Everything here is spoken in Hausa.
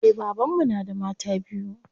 Eh baban mu na da mata biyu.